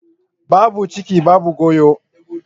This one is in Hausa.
Babu ciki babu goyo.